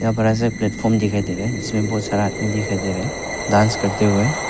एक बडा प्लेटफार्म दिखाई दे रहा है इसमें बहुत सारा आदमी दिखाई दे रहा है डांस करते हुए।